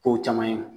Kow caman ye